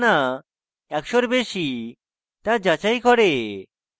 এক এবং একশো এর মধ্যে না একশোর বেশী তা যাচাই করবে